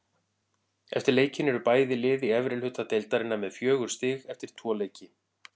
Eftir leikinn eru bæði lið í efri hluta deildarinnar með fjögur stig eftir tvo leiki.